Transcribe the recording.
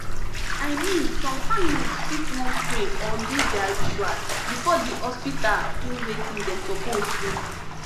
i mean some families fit wan pray or do their rituals before the hospital do wetin dem suppose do